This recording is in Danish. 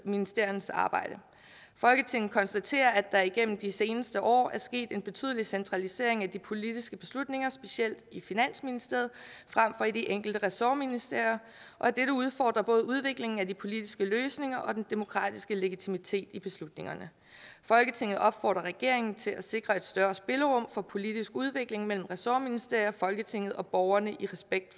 ministeriernes arbejde folketinget konstaterer at der igennem de seneste år er sket en betydelig centralisering af de politiske beslutninger specielt i finansministeriet frem for i de enkelte ressortministerier og at dette udfordrer både udviklingen af de politiske løsninger og den demokratiske legitimitet i beslutningerne folketinget opfordrer regeringen til at sikre et større spillerum for politisk udvikling mellem ressortministerier folketinget og borgerne i respekt